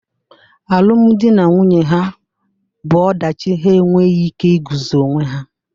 Alụmdi na nwunye ha bụ ọdachi, ha enweghị ike iguzo onwe ha